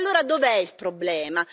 E allora dov'è il problema?